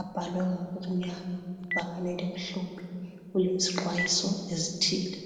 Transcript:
Abhalwe ngokumnyama, ibhakani elimhlophe kuyizixwayiso ezithile.